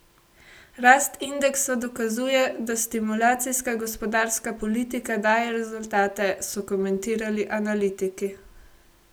Rast indeksa dokazuje, da stimulacijska gospodarska politika daje rezultate, so komentirali analitiki.